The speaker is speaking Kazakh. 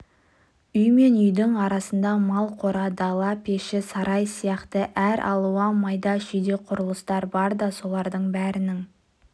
үй мен үйдің арасында мал қора дала пеші сарай сияқты әр алуан майда-шүйде құрылыстар бар да солардың бәрінің